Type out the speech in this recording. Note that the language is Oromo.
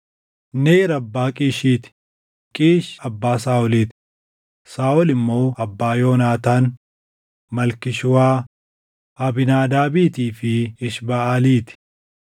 Neer abbaa Qiishii ti; Qiish abbaa Saaʼolii ti; Saaʼol immoo abbaa Yoonaataan, Malkii-Shuwaa, Abiinaadaabiitii fi Eshbaʼalii ti.